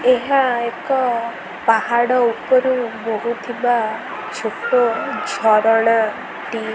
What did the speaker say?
ଏହା ଏକ ପାହାଡ଼ ଉପରୁ ବୋହୁଥିବା ଛୋଟ ଝରଣା ଟି।